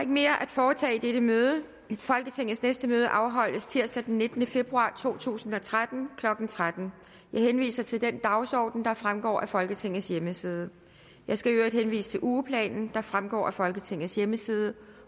mere at foretage i dette møde folketingets næste møde afholdes tirsdag den nittende februar to tusind og tretten klokken tretten jeg henviser til den dagsorden der fremgår af folketingets hjemmeside jeg skal i øvrigt henvise til ugeplanen der fremgår af folketingets hjemmeside